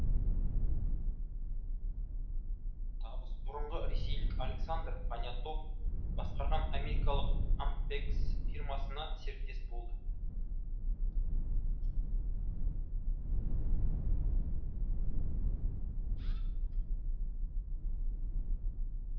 табыс бұрынғы ресейлік александр понятов басқарған америкалық амрех фирмасына серіктес болды